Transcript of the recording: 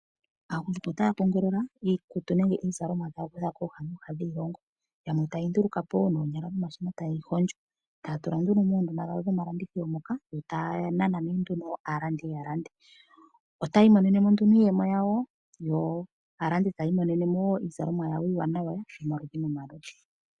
Aagundjuka otaya kongolo iikutu nenge iizalomwa okuza kooha nooha dhiilongo. Yamwe taye yi nduluka po wo noonyala nomashina taye yi hondjo. Taya tula nduno moondunda dhawo dhomalandithilo moka yo taya nana nduno aalandi ya lande. Otaya imonene mo nduno iiyemo yawo yo aalandi taya imonene mo wo iizalomwa yawo iiwanawa yomaludhi nomaludhi.